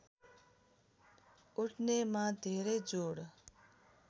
उठ्नेमा धेरै जोड